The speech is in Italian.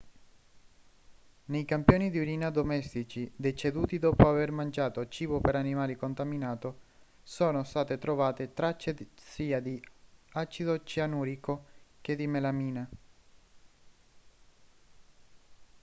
nei campioni di urina domestici deceduti dopo aver mangiato cibo per animali contaminato sono state trovate tracce sia di acido cianurico e che di melamina